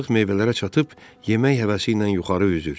Balıq meyvələrə çatıb, yemək həvəsi ilə yuxarı üzür.